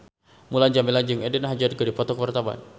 Mulan Jameela jeung Eden Hazard keur dipoto ku wartawan